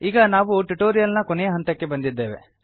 ಈಗ ನಾವು ಟ್ಯುಟೋರಿಯಲ್ ನ ಕೊನೆಯ ಹಂತಕ್ಕೆ ಬಂದಿದ್ದೇವೆ